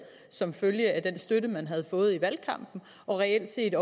som følge af den støtte man havde fået i valgkampen og reelt set